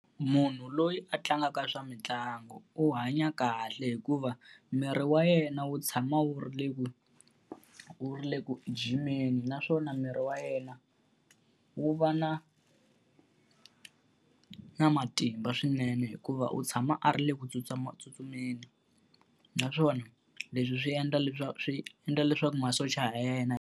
Munhu loyi a tlangaka swa mitlangu u hanya kahle hikuva miri wa yena wu tshama wu ri le ku wu ri le ku jimeni, naswona miri wa yena wu va na na matimba swinene hikuva u tshama a ri le ku tsutsumatsutsumeni. Naswona leswi swi endla swi endla leswaku masocha ya yena.